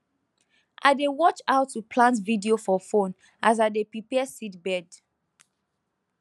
i dey watch how to plant video for phone as i dey prepare seedbed